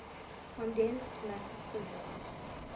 condensed matter physics